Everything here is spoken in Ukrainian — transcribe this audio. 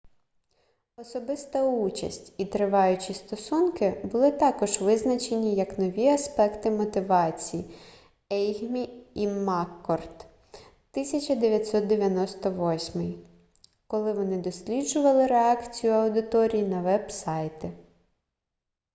"особиста участь і триваючі стосунки були також визначені як нові аспекти мотивації ейгмі і маккорд 1998 коли вони досліджували реакцію аудиторії на веб-сайти